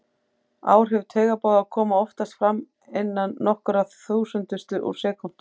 Áhrif taugaboða koma oftast fram innan nokkurra þúsundustu úr sekúndu.